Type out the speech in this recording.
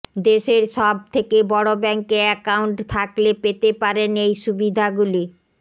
দেশের সব থেকে বড় ব্যাঙ্কে অ্যাকাউন্ট থাকলে পেতে পারেন এই সুবিধাগুলি